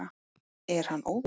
Er hann óviti?